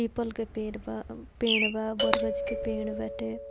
पीपल के पेड़ बा पेड़ बा बरगद के पेड़ बाटे।